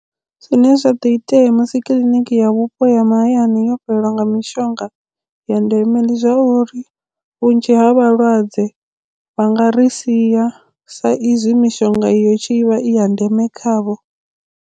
Zwine zwa do itea musi kiḽiniki ya vhupo ya mahayani yo fhelelwa nga mishonga ya ndeme ndi zwa uri vhunzhi ha vhalwadze vha nga ri sia sa izwi mishonga iyo i tshi vha i ya ndeme khavho.